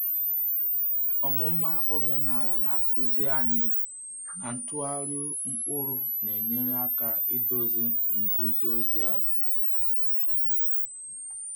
Ọmụma omenala na-akụzi anyị na ntụgharị mkpụrụ na-enyere aka idozi nguzozi ala.